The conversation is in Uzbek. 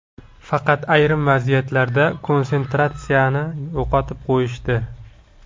Faqat ayrim vaziyatlarda konsentratsiyani yo‘qotib qo‘yishdi.